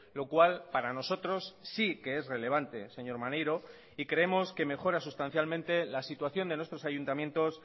lo cual para nosotros sí que es relevante señor maneiro y creemos que mejora sustancialmente la situación de nuestros ayuntamientos